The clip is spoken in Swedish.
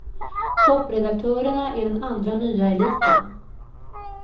Toppredaktörerna är den andra nya eliten.